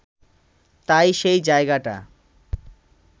তাই সেই জায়গাটা